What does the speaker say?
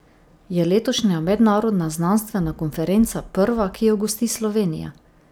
Je letošnja mednarodna znanstvena konferenca prva, ki jo gosti Slovenija?